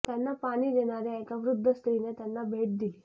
त्यांना पाणी देणार्या एका वृद्ध स्त्रीने त्यांना भेट दिली